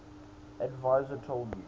adviser told u